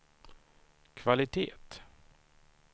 kvalitet